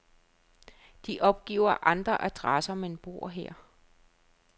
De opgiver andre adresser, men bor her.